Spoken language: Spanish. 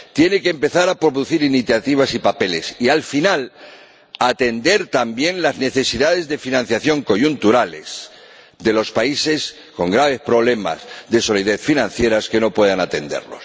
Tiene que empezar a producir iniciativas y papeles y, al final, atender también las necesidades de financiación coyunturales de los países con graves problemas de solidez financiera que no pueden atender.